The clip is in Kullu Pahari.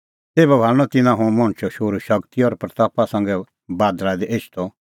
तेभै तिन्नां हुंह मणछो शोहरू हेरनअ शगती और महिमां संघै बादल़ा दी एछदअ